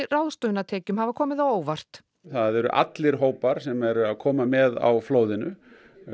ráðstöfunartekjum hafa komið á óvart það eru allir hópar sem eru að koma með á flóðinu